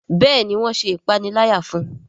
Béèni wón ṣe ìpaniláyà fún.